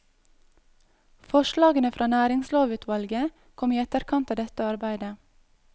Forslagene fra næringslovutvalget kom i etterkant av dette arbeidet.